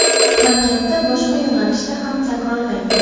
Harakatda boshqa yo‘nalishda ham takrorlang.